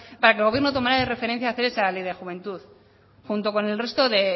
para que el gobierno tomara de referencia hacer esa ley de juventud junto con el resto